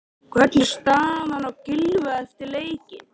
Hvernig er staðan á Gylfa eftir leikinn?